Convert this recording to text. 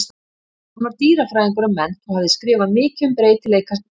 Hann var dýrafræðingur að mennt og hafði skrifað mikið um breytileika tegunda.